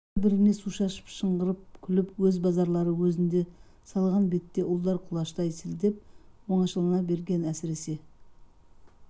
бір-біріне су шашып шыңғырып күліп өз базарлары өзінде салған бетте ұлдар құлаштай сілтеп оңашалана берген әсіресе